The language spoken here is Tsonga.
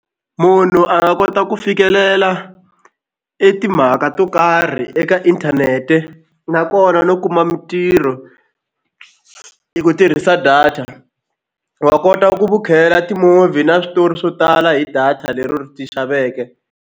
Munhu a nga kota ku fikelela e timhaka to karhi eka inthanete nakona no kuma mitirho hi ku tirhisa data wa kota vukhela ti-movie na switori swo tala hi data lero ti xaveke.